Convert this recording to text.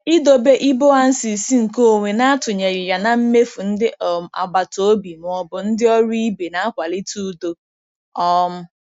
Idobe iboances nkeonwe na-atụnyeghị ya na mmefu ndị um agbata obi ma ọ bụ ndị ọrụ ibe na-akwalite udo. um